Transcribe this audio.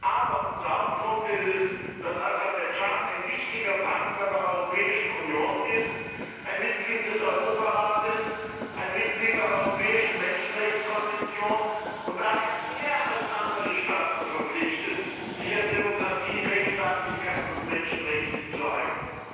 Aber unser Hauptgrund ist, dass Aserbaidschan ein wichtiger Partner der Europäischen Union, ein Mitglied des Europarates, ein Mitglied der Europäischen Menschenrechtskonvention und daher mehr als andere Staaten verpflichtet ist, sich an Demokratie, Rechtsstaatlichkeit und Menschenrechte zu halten.